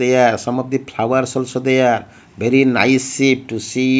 there some of the flowers also there very nice see to see.